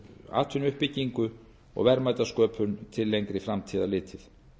atvinnuuppbyggingu og verðmætasköpun til lengri framtíðar litið